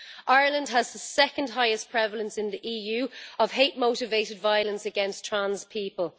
Ireland has the second highest prevalence in the EU of hate motivated violence against trans people.